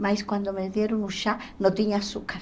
Mas quando me deram o chá, não tinha açúcar.